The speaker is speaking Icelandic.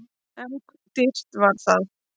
En dýrt var það!